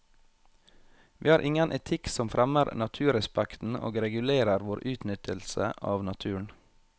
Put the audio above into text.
Vi har ingen etikk som fremmer naturrespekten og regulerer vår utnyttelse av naturen.